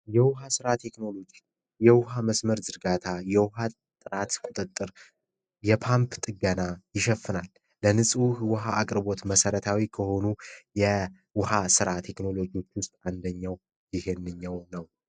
የውሃ ስራ ቴክኖሎጂ የውሃ መስመር ዮሐንስ ቁጥጥር የፓንክ ጥገና ይሸፍናል አቅርቦት መሰረታዊ ከሆኑ የውሃ ስራ ቴክኖሎጂ ውስጥ አንደኛው ነው